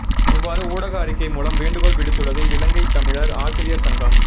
இவ்வாறு ஊடக அறிக்கை மூலம் வேண்டுகோள் விடுத்துள்ளது இலங்கைத் தமிழர் ஆசிரியர் சங்கம்